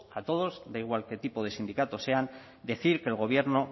a todos da igual qué tipo de sindicatos sean decir que el gobierno